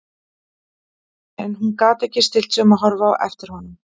En hún gat ekki stillt sig um að horfa á eftir honum.